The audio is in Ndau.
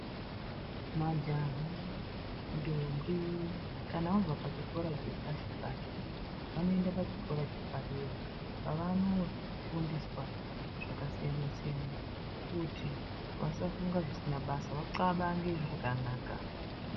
Majaha ndombi kana vabva pachikora chepashi pashi vanoenda pachikora chepadera kwavanoofundiswa zvakasiyana-siyana kuti vasafunga zvisina basa vaxabange zvakanaka.